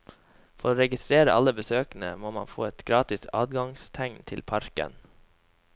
For å registrere alle besøkende må man få et gratis adgangstegn til parken.